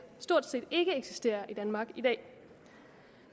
stort set ikke eksisterer i danmark i dag